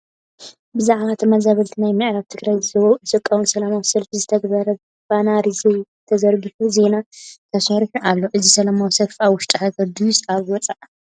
ብዛዕባ ተመዛበልቲ ናይ ምዕራብ ትግራይ ዝቓወም ሰላማዊ ሰልፊ ዝተገበረሉ ባነር ተዘርጊሑ ዜና ተሰሪሑሉ ኣሎ ፡ እዚ ሰላማዊ ሰልፊ ኣብ ውሽጢ ሃገር ድዩስ ኣብ ወፃእ ?